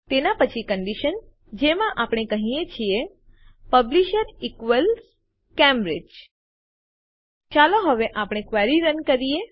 તેનાં પછી કંડીશન જેમાં આપણે કહીએ છીએ પબ્લિશર ઇક્વલ્સ કેમ્બ્રિજ ચાલો હવે આપણે ક્વેરી રન કરીએ